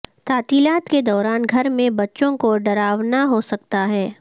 تعطیلات کے دوران گھر میں بچوں کو ڈراونا ہو سکتا ہے